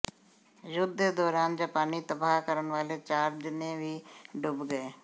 ਯੁੱਧ ਦੇ ਦੌਰਾਨ ਜਾਪਾਨੀ ਤਬਾਹ ਕਰਨ ਵਾਲੇ ਚਾਰ ਜਣੇ ਵੀ ਡੁੱਬ ਗਏ